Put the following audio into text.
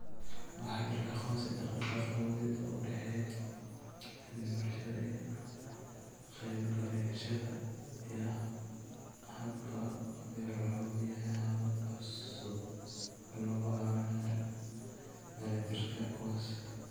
Waxaa jira aqoonsi dhaqdhaqaaq awoodeed oo u dhexeeya cilmi-baarayaasha iyo ka qaybgalayaasha, iyo habka PEER wuxuu bixiyaa habab cusub oo lagu caawinayo dheellitirka kuwaas.